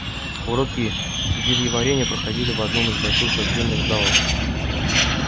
уроки зельеварения проходили в одном из больших подземных залов